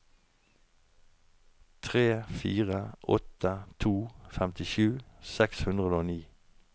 tre fire åtte to femtisju seks hundre og ni